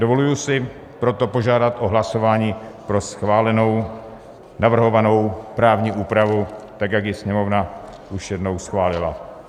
Dovoluji si proto požádat o hlasování pro schválenou navrhovanou právní úpravu tak, jak ji Sněmovna už jednou schválila.